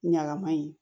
Ɲagami